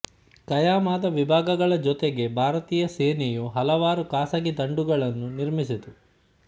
ಖಾಯಂ ಆದ ವಿಭಾಗಗಳ ಜೊತೆಗೆ ಭಾರತೀಯ ಸೇನೆಯು ಹಲವಾರು ಖಾಸಗಿ ದಂಡುಗಳನ್ನು ನಿರ್ಮಿಸಿತು